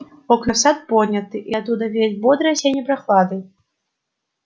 окна в сад подняты и оттуда веет бодрой осенней прохладой